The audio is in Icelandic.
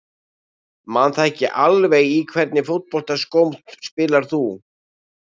Man það ekki alveg Í hvernig fótboltaskóm spilar þú?